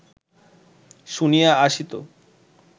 শুনিয়া আসিত